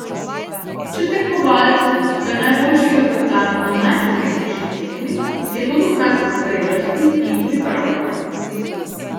Če tekmovalcu uspe najboljši rezultat na najpomembnejši tekmi, je to dokaz zrelosti in pripravljenosti.